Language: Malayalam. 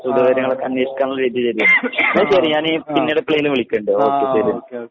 ആ ആ ആ ആ ആ ആ ആ ഓക്കെഓക്കെ